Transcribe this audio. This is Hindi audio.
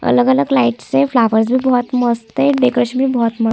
अलग-अलग लाइटस है फ्लावर्स भी बहुत मस्त है डेकोरेशन भी बहुत मस्त--